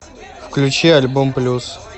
включи альбом плюс